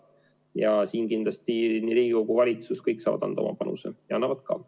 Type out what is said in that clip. Ja siin kindlasti nii Riigikogu kui ka valitsus – kõik saavad anda oma panuse ja annavad ka.